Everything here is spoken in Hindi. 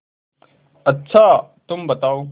अच्छा तुम बताओ